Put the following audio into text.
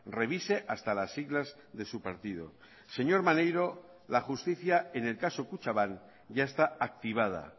revise hasta las siglas de su partido señor maneiro la justicia en el caso kutxabank ya está activada